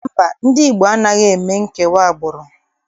Mba, ndị Igbo anaghị eme nkewa agbụrụ.